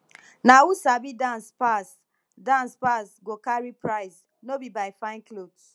na who sabi dance pass dance pass go carry prize no be by fine cloth